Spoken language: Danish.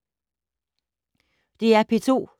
DR P2